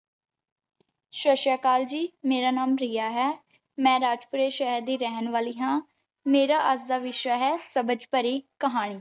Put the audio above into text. ਸਤਿ ਸ਼੍ਰੀ ਅਕਾਲ ਜੀ, ਮੇਰਾ ਨਾਮ ਪ੍ਰਿਆ ਹੈ। ਮੈਂ ਰਾਜਪੁਰੇ ਸ਼ਹਿਰ ਦੀ ਰਹਿਣ ਵਾਲੀ ਹਾਂ। ਮੇਰਾ ਅੱਜ ਦਾ ਵਿਸ਼ਾ ਹੈ ਸਬਜ਼ ਪਰੀ ਕਹਾਣੀ।